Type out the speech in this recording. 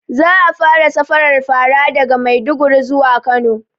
Za a fara safarar fara daga maiduguri zuwa kano